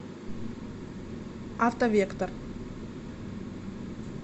автовектор